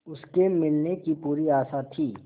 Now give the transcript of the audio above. उसके मिलने की पूरी आशा थी